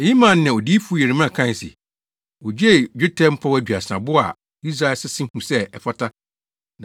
Eyi maa nea Odiyifo Yeremia kae se, “Wogyee dwetɛ mpɔw aduasa, bo a Israelfo sese huu sɛ ɛfata,